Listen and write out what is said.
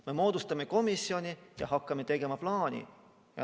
Me moodustame komisjoni ja hakkame tegema plaani.